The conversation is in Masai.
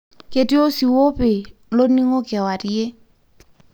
ketii osiwuo opii loningo kewarie.